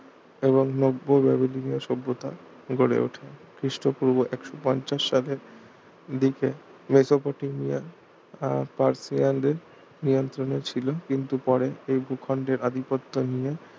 এবং নব্য ব্যাবিলনিয় সভ্যতা গড়ে ওঠে খ্রিস্টপূর্ব একশো পঞ্চাশ সাল দিকে মেসোপটেমিয়ার আহ পার্সিয়ানদের নিয়ন্ত্রনে ছিল কিন্তু পরে এই ভূখণ্ডের আধিপত্য নিয়ে